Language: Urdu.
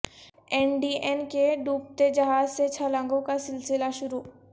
این ڈی اے کے ڈوبتے جہاز سے چھلانگوں کا سلسلہ شروع